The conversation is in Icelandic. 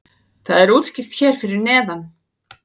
það er útskýrt hér fyrir neðan